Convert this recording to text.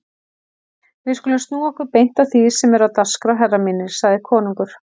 Við skulum snúa okkur beint að því sem er á dagskrá herrar mínir, sagði konungur.